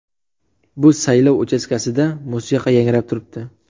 Bu saylov uchastkasida musiqa yangrab turibdi.